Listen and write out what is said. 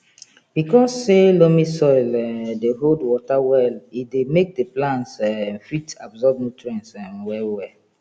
because say loamy soil um dey hold water well e dey make the plants um fit absorb nutrients um well well